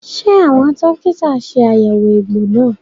Ṣé àwọn dókítà ṣe àyẹ̀wò egbò náà?